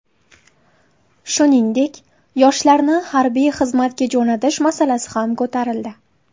Shuningdek, yoshlarni harbiy xizmatga jo‘natish masalasi ham ko‘tarildi.